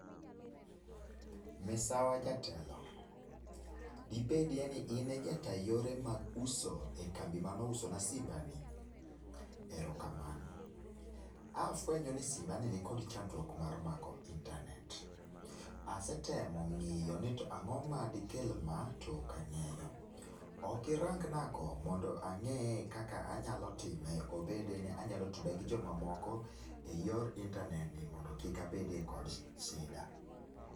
Misawa jatelo! Dibedie ni in e jata yore mag uso e kambi manousona simbani? Erokamano. A afuenyo ni simbani nikod chandruok mar mako intanet. Asetemo ng'iyo ni to ang'o madikel ma, to ok ang'eyo. Ok irangnago mondo ang'eye kaka anyalo time, obede ni onyalo tuda gi jomamoko eyor intanet ni mondo kik abede kod shida.